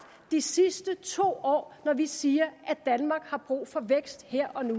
de sidste to år når vi siger at danmark har brug for vækst her og nu